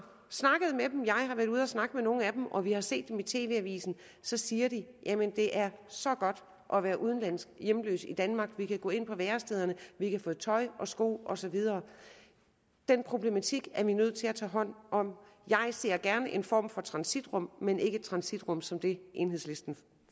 været ude at snakke med nogle af dem og når vi har set dem i tv avisen så siger de det er så godt at være udenlandsk hjemløs i danmark for vi kan gå ind på værestederne og vi kan få tøj og sko og så videre den problematik er vi nødt til at tage hånd om jeg ser gerne en form for transitrum men ikke transitrum som dem enhedslisten